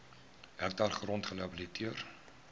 hektaar grond gerehabiliteer